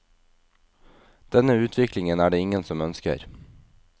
Denne utviklingen er det ingen som ønsker.